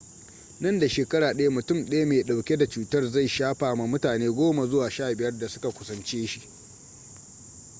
nan da shekara ɗaya mutum daya mai ɗauke da cutar zai shafa ma mutane 10 zuwa 15 da suka kusance shi